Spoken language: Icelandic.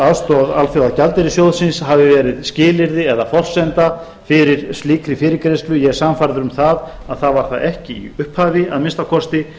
aðstoð alþjóðagjaldeyrissjóðsins hafi verið skilyrði eða forsenda fyrir slíkri fyrirgreiðslu ég er sannfærður um að það var það ekki í upphafi að minnsta kosti